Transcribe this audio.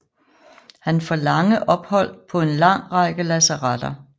Han får lange ophold på en lang række lazaretter